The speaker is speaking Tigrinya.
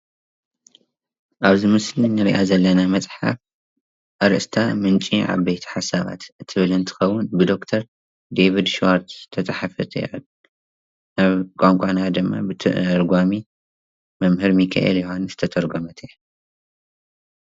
ኣብዚ ምስሊ እንሪኣ ዘለና መፅሓፍ ኣርእስታ ምንጪ ዓበይቲ ሓሳባት እትብል እንትትከውን ብዶክተር ደቪድ ሽዋርድ እተፀሓፈት እያ፣ ናብ ቋንቋና ድማ ብተርጓሚ መምህር ሚኪኤል ዮውሃንስ ዝተተርጎመት እያ፡፡